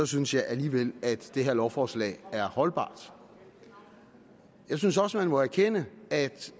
synes jeg alligevel at det her lovforslag er holdbart jeg synes også man må erkende at